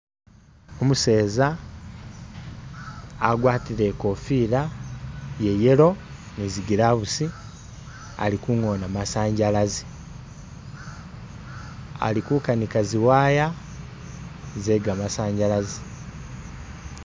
Umuseza agwatile e'kofila ya yellow ni zi gloves ali kungoona masanyalazi ali ku kanika zi wire ze gamazanyalazi